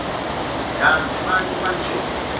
kantsi bantfu banje